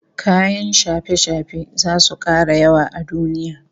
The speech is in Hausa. Kayan shafe-shafe zasu kara yawa a duniya